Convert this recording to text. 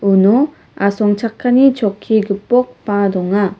uno asongchakani chokki gipokba donga.